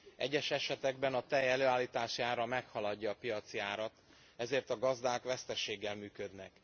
Egyes esetekben a tej előállítási ára meghaladja a piaci árat, ezért a gazdák veszteséggel működnek.